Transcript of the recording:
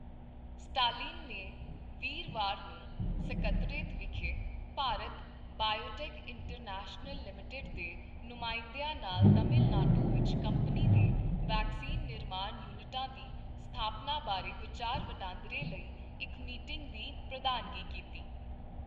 Stalin ਨੇ ਵੀਰਵਾਰ ਨੂੰ ਸਕੱਤਰੇਤ ਵਿਖੇ ਭਾਰਤ ਬਾਇਓਟੈਕ ਇੰਟਰਨੈਸ਼ਨਲ ਲਿਮਟਿਡ ਦੇ ਨੁਮਾਇੰਦਿਆਂ ਨਾਲ ਤਾਮਿਲ ਨਾਡੂ ਵਿੱਚ ਕੰਪਨੀ ਦੇ ਵੈਕਸੀਨ ਨਿਰਮਾਣ ਯੂਨਿਟਾਂ ਦੀ ਸਥਾਪਨਾ ਬਾਰੇ ਵਿਚਾਰ ਵਟਾਂਦਰੇ ਲਈ ਇੱਕ ਮੀਟਿੰਗ ਦੀ ਪ੍ਰਧਾਨਗੀ ਕੀਤੀ।